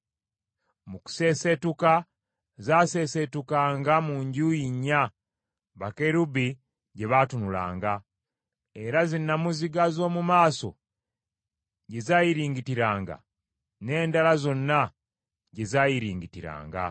Mu kuseeseetuka, zaaseeseetukanga mu njuyi nnya bakerubi gye baatunulanga, era zinnamuziga z’omu maaso gye zaayiringitiranga, n’endala zonna gye zaayiringitiranga.